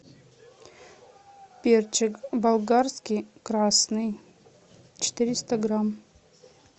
перчик болгарский красный четыреста грамм